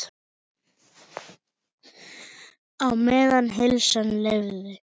Á meðan heilsan leyfði.